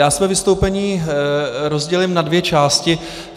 Já své vystoupení rozdělím na dvě části.